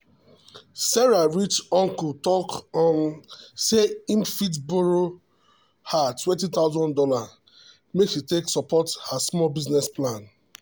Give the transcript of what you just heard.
sarah rich uncle talk um say e fit borrow her two thousand dollars0 make she take support her small business plan.